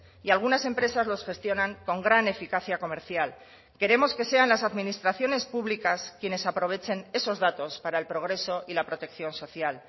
y algunas empresas los gestionan con gran eficacia comercial queremos que sean las administraciones públicas quienes aprovechen esos datos para el progreso y la protección social